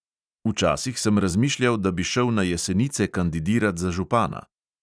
Včasih sem razmišljal, da bi šel na jesenice kandidirat za župana.